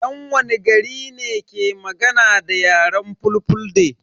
Yan wani gari ne ke magana da yaren fulfulde?